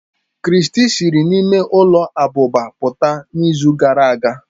Christy siri n'ime ụlọ abụba pụta n'izu gara aga.